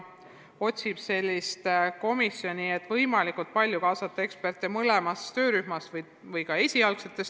Ta püüab luua sellise komisjoni, kuhu oleks kaasatud võimalikult palju mõlemat liiki eksperte.